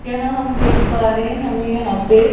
यहां हम देख पा रहे हमें यहां पे--